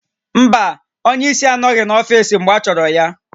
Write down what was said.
Mba, onye isi anọghị n'ọfiisi mgbe achọrọ ya